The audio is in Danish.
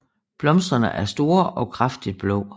Blomsterne er store og kraftigt blå